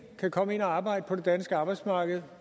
kan komme ind og arbejde på det danske arbejdsmarked